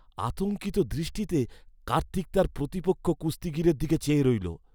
আতঙ্কিত দৃষ্টিতে কার্তিক তার প্রতিপক্ষ কুস্তিগীরের দিকে চেয়ে রইলো।